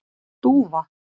Dúfa